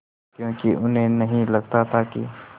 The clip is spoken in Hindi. क्योंकि उन्हें नहीं लगता था कि